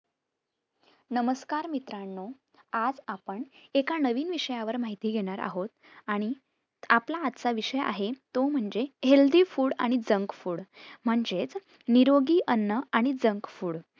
नमस्कार मित्रांनो आज आपण एका नवीन विषयावर माहिती घेणार आहोत आणि आपला आजचा विषय आहे तो म्हणजे Healthy food आणि junk food म्हणजेच निरोगी अन्न आणि junk food